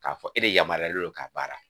Ka fɔ e de yamariyalen don ka baara.